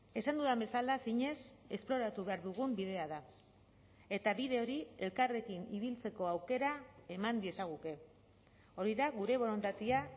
esan dudan bezala zinez esploratu behar dugun bidea da eta bide hori elkarrekin ibiltzeko aukera eman diezaguke hori da gure borondatea